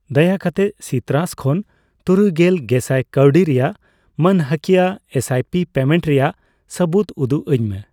ᱫᱟᱭᱟ ᱠᱟᱛᱮᱜ ᱥᱤᱛᱨᱟᱥ ᱠᱷᱚᱱ ᱛᱩᱨᱩᱭᱜᱮᱞ ᱜᱮᱥᱟᱭ ᱠᱟᱣᱰᱤ ᱨᱮᱭᱟᱜ ᱢᱟᱹᱱᱦᱟᱹᱠᱤᱭᱟᱹ ᱮᱥᱟᱭᱯᱤ ᱯᱮᱢᱮᱱᱴ ᱨᱮᱭᱟᱜ ᱥᱟᱹᱵᱩᱽᱫ ᱩᱫᱩᱜ ᱟᱹᱧ ᱢᱮ ᱾